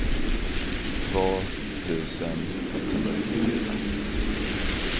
två tusen etthundranittiofyra